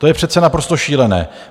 To je přece naprosto šílené.